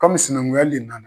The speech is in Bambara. Kɔmi sinankunya le nana